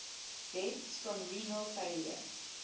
deaths from renal failure